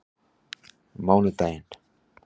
mánudaginn